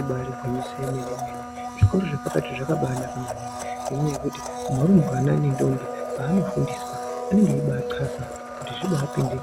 Ibari gwinyiso remene mene zvikora zvepakati zvakabanaka maningi ngenyaya yekuti varumbwana nendombi panofundiswa anenge eibathasa kuti zvibapinde